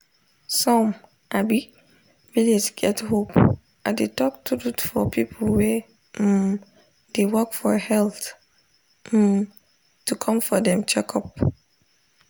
some um village get hope i dey talk truth for people wey um dey work for health um to come for dem checkup